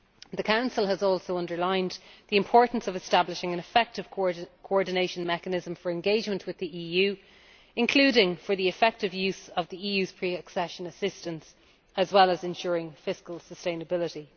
The Council has also underlined the importance of establishing an effective coordination mechanism for engagement with the EU, including for the effective use of the EU's pre accession assistance, as well as ensuring fiscal sustainability.